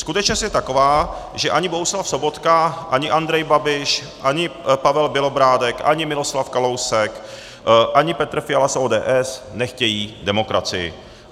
Skutečnost je taková, že ani Bohuslav Sobotka, ani Andrej Babiš, ani Pavel Bělobrádek, ani Miloslav Kalousek, ani Petr Fiala z ODS nechtějí demokracii.